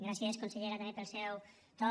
gràcies consellera també pel seu to